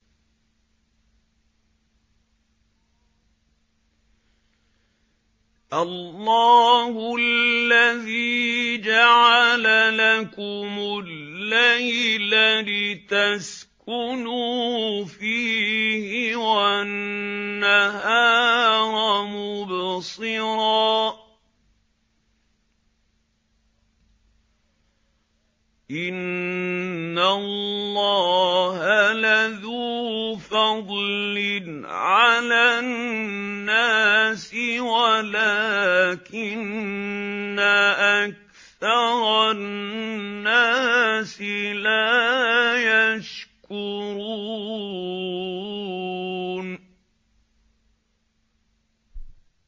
اللَّهُ الَّذِي جَعَلَ لَكُمُ اللَّيْلَ لِتَسْكُنُوا فِيهِ وَالنَّهَارَ مُبْصِرًا ۚ إِنَّ اللَّهَ لَذُو فَضْلٍ عَلَى النَّاسِ وَلَٰكِنَّ أَكْثَرَ النَّاسِ لَا يَشْكُرُونَ